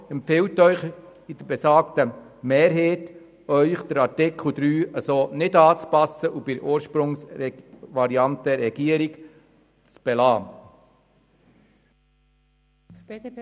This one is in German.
Die Kommission empfiehlt Ihnen mit der besagten Mehrheit, Artikel 3 nicht anzupassen und ihn bei der Ursprungsvariante der Regierung zu belassen.